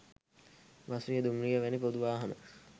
බස්රිය, දුම්රිය වැනි පොදු වාහන